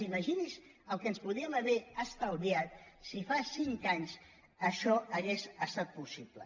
imagini’s el que ens podríem haver estalviat si fa cinc anys això hagués estat possible